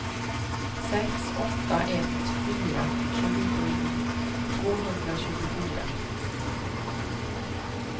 sex åtta ett fyra tjugosju tvåhundratjugofyra